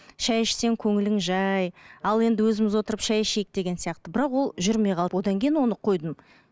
шай ішсең көңілің жай ал енді өзіміз отырып шай ішейік деген сияқты бірақ ол жүрмей қалды одан кейін оны қойдым